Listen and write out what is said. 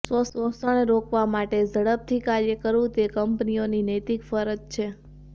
શોષણ રોકવા માટે ઝડપથી કાર્ય કરવું તે કંપનીઓની નૈતિક ફરજ છે